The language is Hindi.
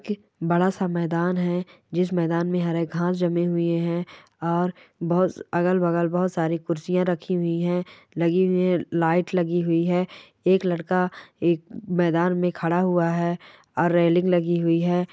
बड़ा सा मैदान है जिस मैदान में हरी घास जमी हुई है और बहुत अगल बगल बहुत सारी कुरसिया रखी हुई है लगी हुई है लाइट लगी हुई है एक लडका एक मैदान में खड़ा हुआ है और रेलिंग लगि हुयी है।